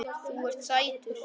Þú ert sætur!